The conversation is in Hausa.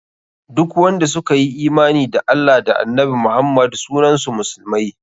Duk wanda suka yi imani da Allah da annabi Muhammad sunan su musulmai.